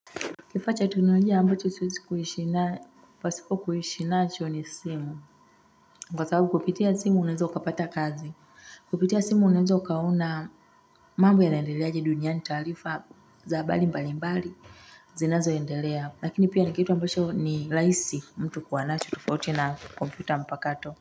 Kifaa cha teknolojia ambacho siwezi kuishi na pasioo kuishi nacho ni simu kwa sababu kupitia simu unaweza ukapata kazi kupitia simu unaweza ukaona mambo yanaendeleaje duniani taarifa za habari mbali mbali zinazoendelea lakini pia ni kitu ambacho ni rahisi mtu kuwa nacho tofauti na kompyuta mpakato.